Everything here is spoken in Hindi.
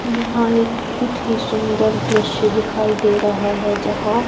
यहाँ एक बहुत ही सुंदर दृश्य दिखाई दे रहा हैं जहाँ--